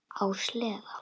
Á sleða.